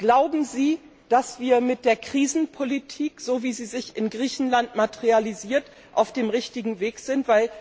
Glauben Sie, dass wir mit der Krisenpolitik, wie sie sich in Griechenland materialisiert, auf dem richtigen Weg sind?